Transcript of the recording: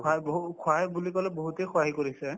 সহায় বহুত সহায় বুলি কলে বহুতে সহায় কৰিছে